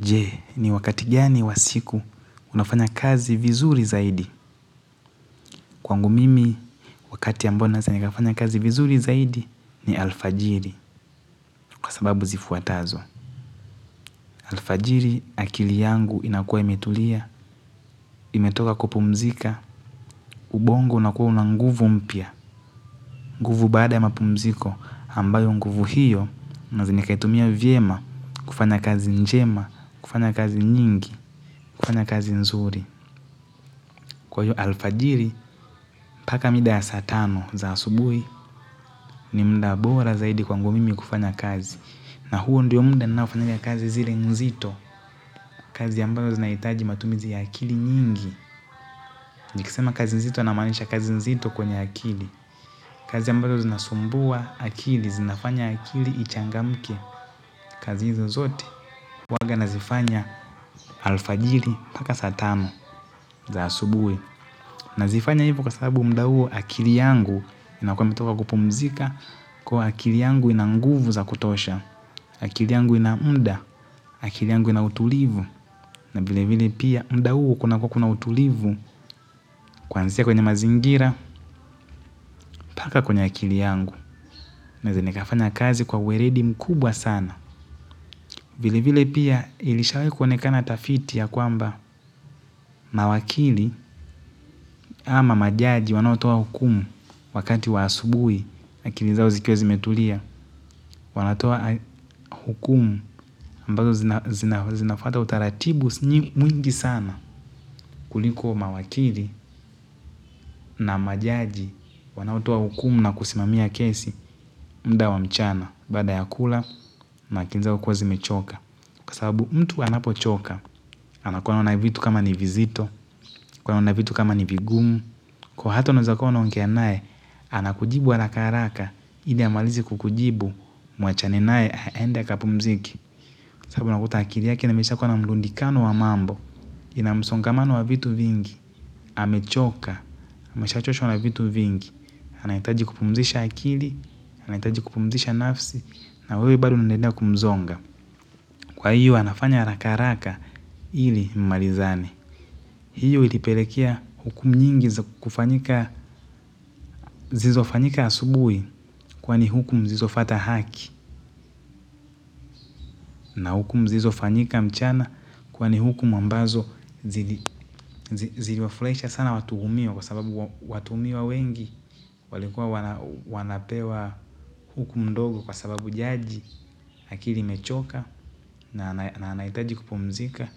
Je, ni wakati gani wa siku unafanya kazi vizuri zaidi? Kwangu mimi, wakati ambao naweza nikafanya kazi vizuri zaidi ni alfajiri kwa sababu zifuatazo. Alfajiri akili yangu inakua imetulia, imetoka kupumzika, ubongo unakuwa una nguvu mpya. Nguvu baada ya mapumziko ambayo nguvu hiyo, naweza nikaitumia vyema, kufanya kazi njema, kufanya kazi nyingi, kufanya kazi nzuri. Kwa hiyo alfajiri mpaka mida ya saa tano za asubuhi ni muda bora zaidi kwangu mimi kufanya kazi na huo ndio muda ninaofanya kazi zile nzito, kazi ambazo zinahitaji matumizi ya akili nyingi nikisema kazi nzito namaanisha kazi nzito kwenye akili. Kazi ambazo zinasumbua akili zinafanya akili ichangamke. Kazi hizi zote huanga nazifanya alfajiri mpaka saa tano za asubuhi. Nazifanya hivyo kwa sababu muda huo akili yangu inakuwa imetoka kupumzika kuwa akili yangu ina nguvu za kutosha, akili yangu ina muda, akili yangu ina utulivu, na vile vile pia muda huo kunakua kuna utulivu kuanzia kwenye mazingira mpaka kwenye akili yangu. Naweza nikafanya kazi kwa uweledi mkubwa sana vile vile pia ilishawahi kuonekana tafiti ya kwamba mawakili ama majaji wanaotoa hukumu wakati wa asubuhi akili zao zikiwa zimetulia wanatoa hukumu ambazo zinafuata utaratibu mwingi sana kuliko mawakili na majaji wanaotoa hukumu na kusimamia kesi muda wa mchana baada ya kula na akiki zao kuwa zimechoka. Kwa sababu mtu anapochoka anakuwa anaona vitu kama ni vizito, anakuwa anaona vitu kama ni vigumu kuwa hata unaweza kuwa unaongea naye anakujibu harakaharaka ili amalize kukujibu muachane naye aende akapumzike sababu nakuta akili yake na mesha kuwa na mlundikano wa mambo ina msongamano wa vitu vingi amechoka amesha choshwa na vitu vingi anahitaji kupumzisha akili anahitaji kupumzisha nafsi na wewe bari unaendelea kumzonga kwa hiyo anafanya harakaharaka ili mmalizane hiyo ilipelekea hukum nyingi kufanyika zizo fanyika asubuhi kwani huku mzizo fata haki na hukum zizo fanyika mchana kwa ni hukumu ambazo ziliwafulahisha sana watuhumio kwa sababu watuhumiwa wengi walikua wanapewa hukum ndogo kwa sababu jaji akili imechoka na anahitaji kupumzika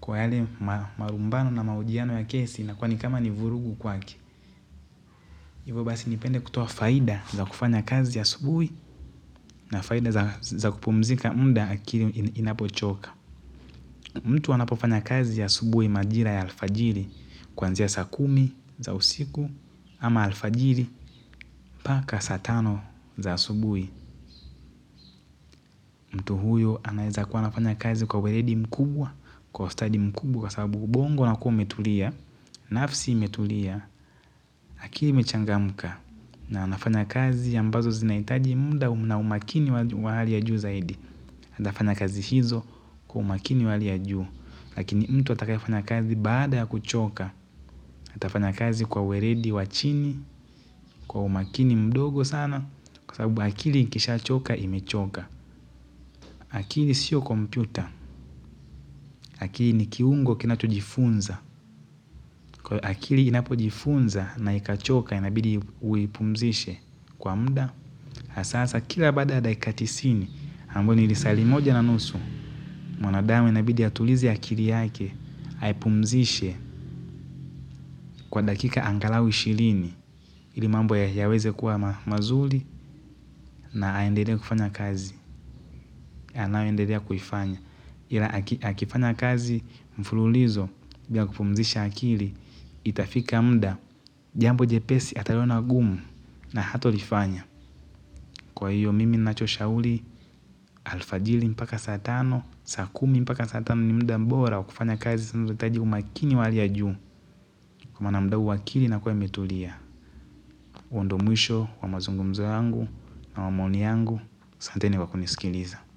kwa yale marumbano na mahojiano ya kesi inakua ni kama ni vurugu kwake. Ivo basi nipende kutoa faida za kufanya kazi asubuhi na faida za kupumzika mda akiri inapochoka. Mtu anapofanya kazi ya subuhi majira ya alfajiri kwanzia saa kumi za usiku ama alfajiri paka saa tano za asubuhi. Mtu huyo anaeza kuwa anafanya kazi kwa weredi mkubwa, kwa ustadi mkubwa kwa sababu ubongo unakua umetulia, nafsi imetulia, akiri imechangamka. Na anafanya kazi ambazo zinahitaji mda na umakini wahali ya juu zaidi. Atafanya kazi hizo kwa umakini wahali ya juu. Lakini mtu atakaye fanya kazi baada ya kuchoka. Atafanya kazi kwa uweredi wa chini, kwa umakini mdogo sana. Kwa sababu akili kisha choka imechoka. Akili sio kompyuta. Akili ni kiungo kinacho jifunza. Akili inapo jifunza na ikachoka inabidi uipumzishe kwa mda. Hasahasa kila baada daika tisini hambao ni lisaa limoja na nusu. Mwanadamu inabidi ya atulizi akili yake haipumzishe kwa dakika angalau ishilini ilimambo ya weze kuwa mazuli na aendelee kufanya kazi anayo endedea kuifanya. Ila akifanya kazi mfululizo bila kupumzisha akili. Itafika mda jambo jepesi ataliona gumu na hato lifanya. Kwa hiyo mimi nacho shauli. Alfajili mpaka saa tano saa kumi mpaka saa tano ni mda mbora wa kufanya kazi saamu hitaji umakini wahali ya juu kwa maana mda huu akili inakua imetulia huo ndo mwisho wa mazungumzo yangu na wa maoni yangu asante ni kwa kunisikiliza.